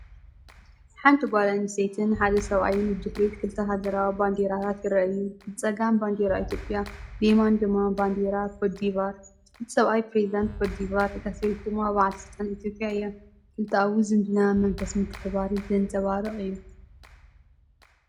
ሓንቲ ጓል ኣንስተይትን ሓደ ሰብኣይን ብድሕሪት ክልተ ሃገራዊ ባንዴራታት ይረኣዩ፤ ብጸጋም ባንዴራ ኢትዮጵያ ብየማን ድማ ባንዴራ ኮትዲቫር። እቲ ሰብኣይ ፕረዚደንት ኮትዲቫር ፣ እታ ሰበይቲ ድማ በዓል ስልጣን ኢትዮጵያ እያ። ክልተኣዊ ዝምድናን መንፈስ ምትሕብባርን ዘንጸባርቕ እዩ።